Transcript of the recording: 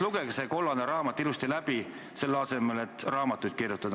Lugege see kollane raamat ilusti läbi, selle asemel et ise raamatuid kirjutada.